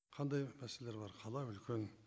қандай мәселелер бар қала үлкен